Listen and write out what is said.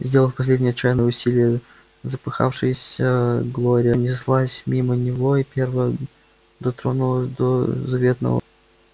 сделав последнее отчаянное усилие запыхавшаяся глория неслась мимо него и первая дотронулась до заветного